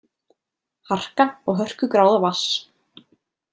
Harka og hörkugráða vatns.